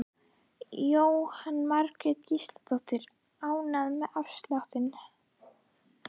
Jóhanna Margrét Gísladóttir: Ánægður með afsláttinn?